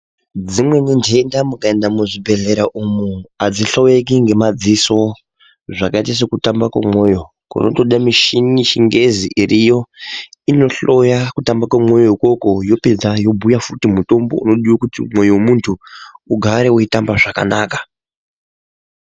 Dzimweni ndenda mukaenda muzvibhedhlera umu adzihloyeki ngemadziso dzakaita sekutamba kwemoyo kunotoda muchini yechingezi iriyo inohloya kutamba kwemoyo ukoko yopedza yobhuya futi mutombo wekuti mwoyo wemunthu ugare weitamba zvakanaka.